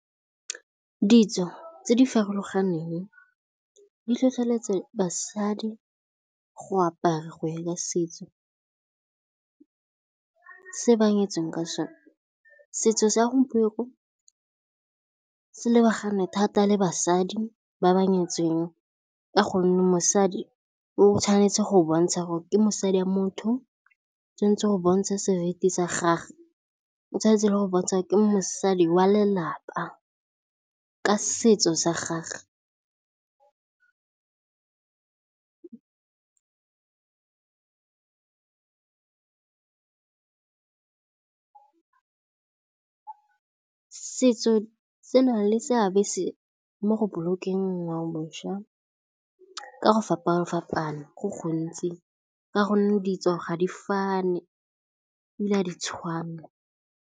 Ditso tse di farologaneng di tlhotlheletsa ka basadi go apara go ya ka setso se ba nyetseng ka sa sona. Setso sa gompieno se lebagane thata le basadi ba ba nyetseng ka gonne mosadi o tshwanetse go bontsha gore ke mosadi wa motho, o tshwanetse go bontsha seriti sa gage, o tshwanetse le go bontsha gore mosadi wa lelapa. Ka setso sa gagwe setso se na le seabe se mo go bolokeng ngwaoboswa ka go fapana-fapana, go gontsi ka gonne di tswa ga di fani, ebile ga di tshwane.